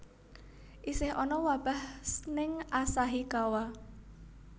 Isih ana wabah ning Asahikawa